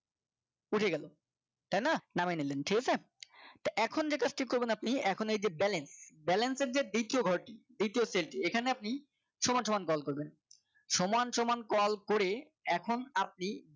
ফুরিয়ে গেল তাই না নামিয়ে নিলেন ঠিক আছে তা এখন যে কাজটি করবেন আপনি এখন এই যে balance balance এর যে দ্বিতীয় ঘরটি দ্বিতীয় cell টি এখানে আপনি সমান সমান দল করবেন সমান সমান call করে এখন আপনি